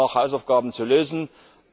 Hier haben wir noch Hausaufgaben zu machen.